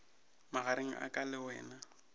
magareng a ka le wena